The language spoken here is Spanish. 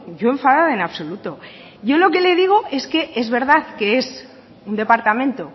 yo enfadada en absoluto yo lo que le digo es que es verdad que es un departamento